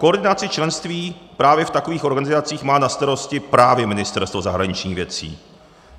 Koordinaci členství právě v takových organizacích má na starosti právě Ministerstvo zahraničních věcí.